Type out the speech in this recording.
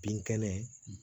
Bin kɛnɛ